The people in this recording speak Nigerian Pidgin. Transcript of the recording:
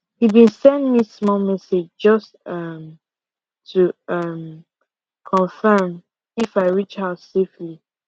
he been send me small message just um to um confirm if i reach house safely